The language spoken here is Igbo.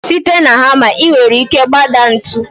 Site na hamma, ị nwere ike gbadaa ntu.